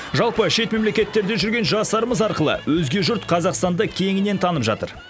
жалпы шет мемлекеттерде жүрген жастарымыз арқылы өзге жұрт қазақстанды кеңінен танып жатыр